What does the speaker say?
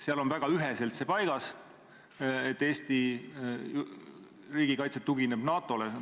Seal on väga üheselt paigas, et Eesti riigikaitse tugineb NATO-le.